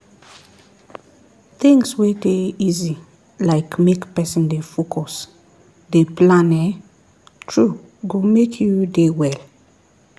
things wey dey easy like make person dey focus dey plan ehnn true go make you dey well